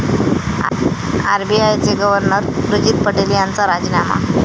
आरबीआयचे गव्हर्नर उर्जित पटेल यांचा राजीनामा